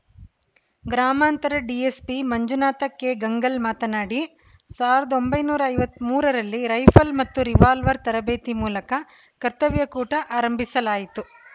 ಗ್ರಾಮಾಂತರ ಡಿಎಸ್ಪಿ ಮಂಜುನಾಥ ಕೆಗಂಗಲ್‌ ಮಾತನಾಡಿ ಸಾವಿರದ ಒಂಬೈನೂರ ಐವತ್ತ್ ಮೂರರಲ್ಲಿ ರೈಫಲ್‌ ಮತ್ತು ರಿವಾಲ್ವರ್‌ ತರಬೇತಿ ಮೂಲಕ ಕರ್ತವ್ಯ ಕೂಟ ಆರಂಭಿಸಲಾಯಿತು